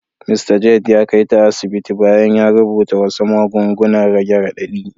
Mista Jade ya kai ta asibiti bayan ya rubuta wasu magungunan rage radadi.